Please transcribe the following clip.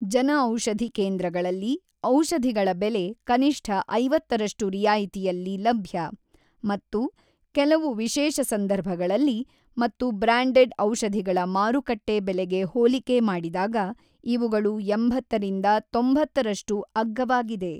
ಜನಔಷಧಿ ಕೇಂದ್ರಗಳಲ್ಲಿ ಔಷಧಿಗಳ ಬೆಲೆ ಕನಿಷ್ಠ ಐವತ್ತರಷ್ಟು ರಿಯಾಯಿತಿಯಲ್ಲಿ ಲಭ್ಯ ಮತ್ತು ಕೆಲವು ವಿಶೇಷ ಸಂದರ್ಭಗಳಲ್ಲಿ ಮತ್ತು ಬ್ರಾಂಡೆಡ್ ಔಷಧಿಗಳ ಮಾರುಕಟ್ಟೆ ಬೆಲೆಗೆ ಹೋಲಿಕೆ ಮಾಡಿದಾಗ ಇವುಗಳು ಎಂಬತ್ತರಿಂದ ತೊಂಬತ್ತರಷ್ಟು ಅಗ್ಗವಾಗಿದೆ.